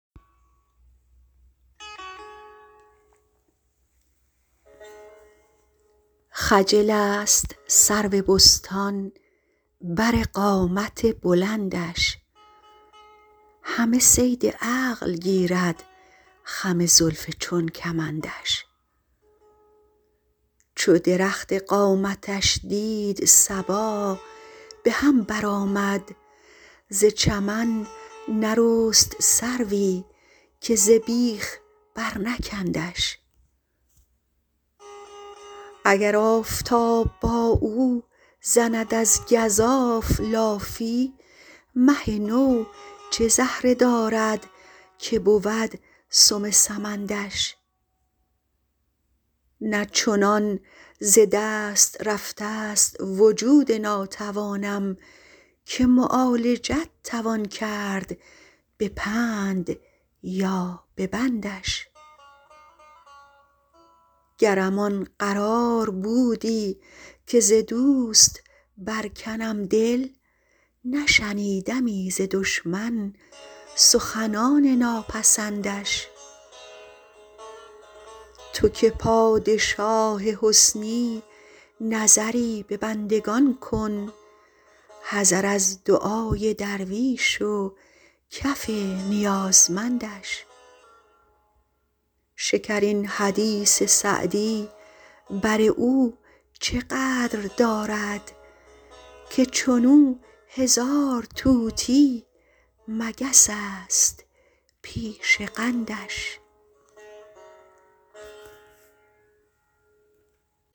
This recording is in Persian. خجل است سرو بستان بر قامت بلندش همه صید عقل گیرد خم زلف چون کمندش چو درخت قامتش دید صبا به هم برآمد ز چمن نرست سروی که ز بیخ برنکندش اگر آفتاب با او زند از گزاف لافی مه نو چه زهره دارد که بود سم سمندش نه چنان ز دست رفته ست وجود ناتوانم که معالجت توان کرد به پند یا به بندش گرم آن قرار بودی که ز دوست برکنم دل نشنیدمی ز دشمن سخنان ناپسندش تو که پادشاه حسنی نظری به بندگان کن حذر از دعای درویش و کف نیازمندش شکرین حدیث سعدی بر او چه قدر دارد که چون او هزار طوطی مگس است پیش قندش